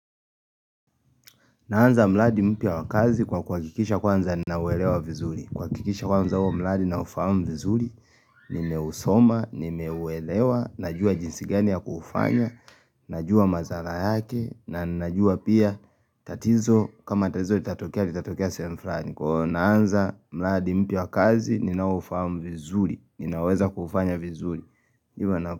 Naanza mradi mpya wa kazi kwa kuhakikisha kwanza nauwelewa vizuri. Kuhakikisha kwanza huo mradi na ufahamu vizuri, nimeusoma, nimeuelewa, najua jinsi gani ya kufanya, najua madhara yake, na najua pia tatizo, kama tatizo, itatokea, itatokea sehemu fulani Kwa naanza mradi mpya wa kazi, ninao ufahamu vizuri, ninaweza kufanya vizuri.